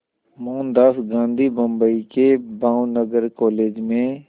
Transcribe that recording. मोहनदास गांधी बम्बई के भावनगर कॉलेज में